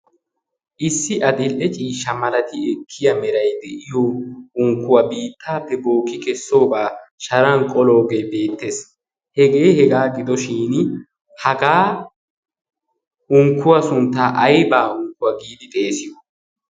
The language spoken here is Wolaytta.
issi adill"e ciisha malati ekkiya merai de'iyo unkkuwaa biittaappe booki kessoobaa sharan qoloogee beettees hegee hegaa gidoshin hagaa unkkuwaa sunttaa aibaa unkkuwaa giidi xeesiyo